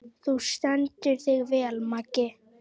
Þú stendur þig vel, Mangi!